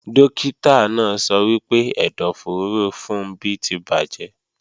Dókítà náà sọ wípé ẹ̀dọ̀fóró Funbí ti bàjẹ́